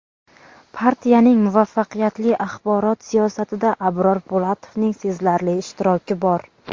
Partiyaning muvaffaqiyatli axborot siyosatida Abror Po‘latovning sezilarli ishtiroki bor.